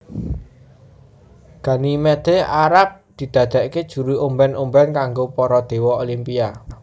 Ganymede arep didadeake juru omben omben kanggo para dewa Olimpia